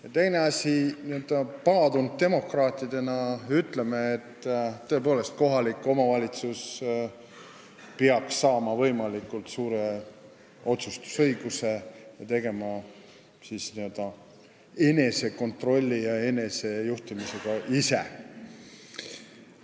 Ja teine asi, n-ö paadunud demokraatidena ütleme, et tõepoolest, kohalik omavalitsus peaks saama võimalikult suure otsustusõiguse ning tegelema enesekontrolli ja enesejuhtimisega ise.